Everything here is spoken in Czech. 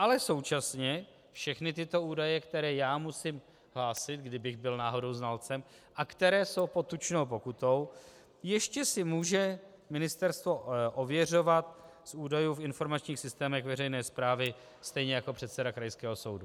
Ale současně všechny tyto údaje, které já musím hlásit, kdybych byl náhodou znalcem, a které jsou pod tučnou pokutou, ještě si může ministerstvo ověřovat z údajů v informačních systémech veřejné správy, stejně jako předseda krajského soudu.